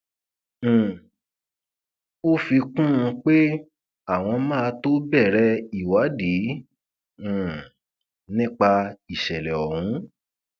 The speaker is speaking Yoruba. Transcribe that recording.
um ó ó fi kún un pé àwọn máa tóó bẹrẹ ìwádì um nípa ìṣẹlẹ ọhún